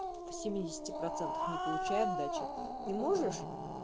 в семидесяти процентах не получай отдачи ты можешь